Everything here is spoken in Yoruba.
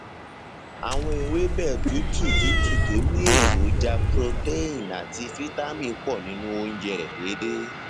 àwọn ewébẹ tútù tútù tó ní ní èròjà protein àti fítámì pọ nínú oúnjẹ rẹ déédéé